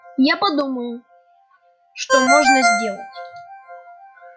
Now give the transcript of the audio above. я подумаю что можно сделать